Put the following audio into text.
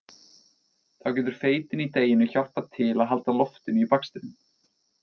Þá getur feitin í deiginu hjálpað til að halda loftinu í bakstrinum.